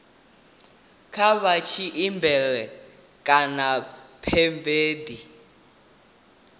kha vha tshimbile kha pheivimennde